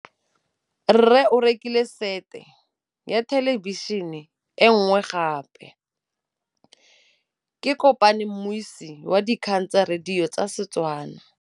Rre o rekile sete ya thêlêbišênê e nngwe gape. Ke kopane mmuisi w dikgang tsa radio tsa Setswana.